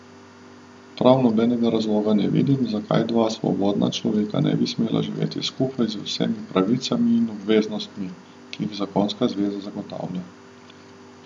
Prav nobenega razloga ne vidim, zakaj dva svobodna človeka ne bi smela živeti skupaj z vsemi pravicami in obveznostmi, ki jih zakonska zveza zagotavlja.